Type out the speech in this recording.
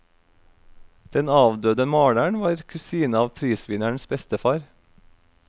Den avdøde maleren var kusine av prisvinnerens bestefar.